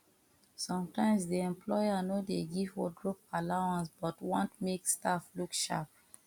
sometimes di employer no dey give wardrobe allowance but want make staff look sharp